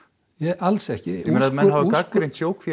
alls ekki menn hafa gagnrýnt